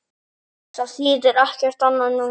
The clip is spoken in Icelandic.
Það þýðir ekkert annað núna.